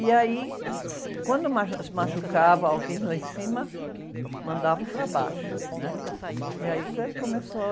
E aí, quando machu, se machucava alguém lá em cima, mandavam para baixo. né? E aí que começou...